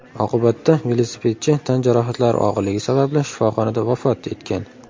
Oqibatda velosipedchi tan jarohatlari og‘irligi sababli shifoxonada vafot etgan.